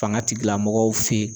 Faŋa tigilamɔgɔw fe